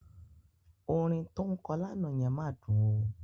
Orin tó ń kọ lánàá yẹn máa dùn ó.